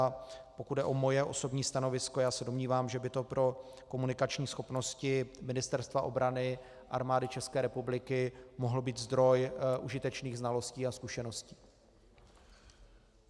A pokud jde o moje osobní stanovisko, já se domnívám, že by to pro komunikační schopnosti Ministerstva obrany, Armády České republiky mohl být zdroj užitečných znalostí a zkušeností.